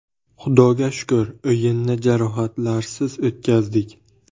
Xudoga shukur, o‘yinni jarohatlarsiz o‘tkazdik.